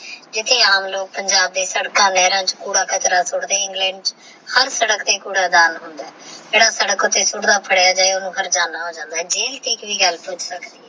ਜਿਥੇ ਆਮ ਲੋਗ ਪੰਜਾਬ ਏ ਸਦਕਾ ਤੇਹ ਲੇਹਰਾ ਚ ਕੂੜਾ ਕਚਰਾ ਸੁਟਦੇ ਨੇ ਇੰਗ੍ਲੈੰਡ ਹਰ ਸਾਦਕ ਤੇਹ ਕੂੜਾਦਾਨ ਹੋਂਦਾ ਆਹ ਜੇਹੜਾ ਸਾਦਕ ਉੱਤੇ ਸੁਟਦਾ ਫਾਦਾਯਾ ਜਾਏਗਾ ਓਹਨੁ ਹਰਜਾਨ ਹੋ ਜੰਡ ਆਹ